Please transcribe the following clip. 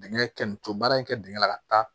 Dingɛ kɛ nu ce baara in kɛ dingɛn la ka taa